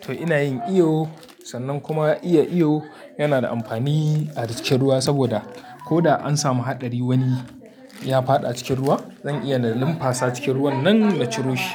to ina yin iyo. Sannan kuma iya iyo yana da amfani a cikin ruwa saboda ko da an samu haɗari wani ya faɗa cikin ruwa, zan iya na limfasa cikin ruwan nan na ciro shi.